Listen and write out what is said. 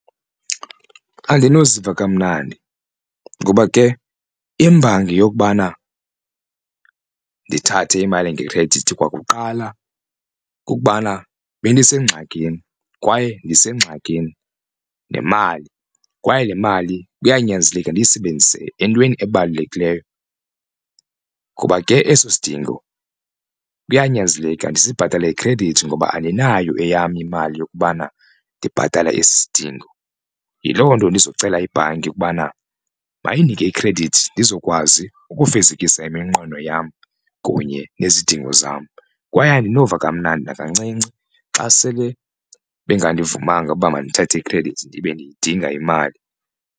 Andinoziva kamnandi ngoba ke imbangi yokubana ndithathe imali ngekhredithi kwakuqala kukubana bendisengxakini kwaye ndisengxakini nemali kwaye le mali kuyanyanzeleka ndiyisebenzise entweni ebalulekileyo. Kuba ke eso sidingo kuyanyanzeleka ndisibhatale ngekhredithi ngoba andinayo eyam imali yokubana ndibhatale esi sidingo. Yiloo nto ndizocela ibhanki ukubana mayindinike ikhredithi ndizokwazi ukufezekisa iminqweno yam kunye nezidingo zam. Kwaye andinova kamnandi nakancinci xa sele benganduvumanga uba mandithathe ikhredithi ndibe ndiyidinga imali.